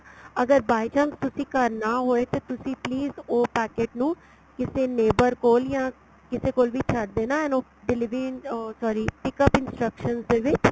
ਅਗਰ by chance ਤੁਸੀਂ ਘਰ ਨਾ ਹੋਏ ਤੇ ਤੁਸੀਂ please ਉਹ packet ਨੂੰ ਕਿਸੇ neighbor ਕੋਲ ਜਾਂ ਕਿਸੇ ਕੋਲ ਵੀ ਛੱਡ ਦੇਣਾ and ਉਹ delivery ਉਹ sorry pickup instruction ਦੇ ਵਿੱਚ